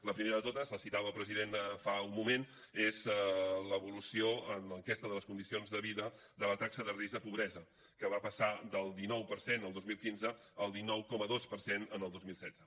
la primera de totes la citava el president fa un moment és l’evolució en l’enquesta de les condicions de vida de la taxa de risc de pobresa que va passar del dinou per cent el dos mil quinze al dinou coma dos per cent el dos mil setze